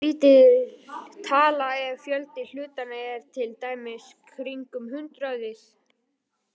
Það er býsna lítil tala ef fjöldi hlutanna er til dæmis kringum hundraðið.